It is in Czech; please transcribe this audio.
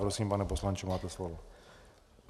Prosím, pane poslanče, máte slovo.